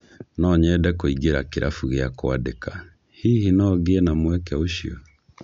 No nyende kũingĩra kĩrabu gĩa kwandĩka, hihi no ngĩe na mweke ũcio?